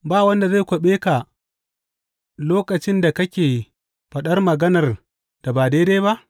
Ba wanda zai kwaɓe ka lokacin da kake faɗar maganar da ba daidai ba?